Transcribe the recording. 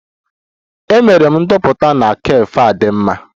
Emere m ndoputa na cafe a dị mma